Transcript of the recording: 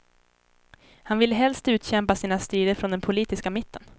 Han ville helst utkämpa sina strider från den politiska mitten.